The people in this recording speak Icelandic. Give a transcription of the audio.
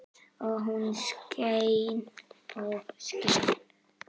Og hún skein og skein.